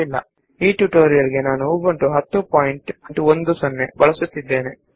ನಾನು ಈ ಟ್ಯುಟೋರಿಯಲ್ ನಲ್ಲಿ ಉಬುಂಟು 1010 ಅನ್ನು ಬಳಸುತ್ತಿದ್ದೇನೆ